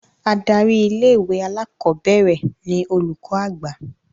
Adarí ilé-ìwé alákọ̀ọ́bẹ̀rẹ̀ ni Olùkọ́ Àgbà